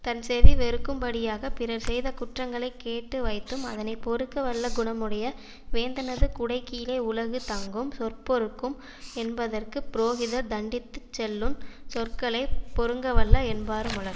தன் செவி வெறுக்கும் படியாக பிறர் செய்த குற்றங்களை கேட்டு வைத்தும் அதனை பொறுக்கவல்ல குணமுடைய வேந்தனது குடை கீழே உலகு தங்கும் சொற்பொறுக்கும் என்பதற்கு புரோகிதர் தன்டித்துச் சொல்லு சொற்களை பொறுங்கவல்ல என்பாருமுளர்